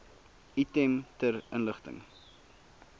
item ter inligting